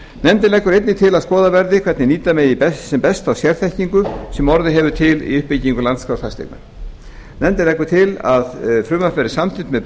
nefndin leggur einnig til að skoðað verði hvernig nýta megi best þá sérþekkingu sem orðið hefur til við uppbyggingu landskrár fasteigna nefndin leggur til að frumvarpið verði samþykkt með